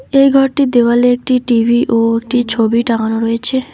এই ঘরটির দেওয়ালে একটি টি_ভি ও একটি ছবি টাঙ্গানো রয়েছে।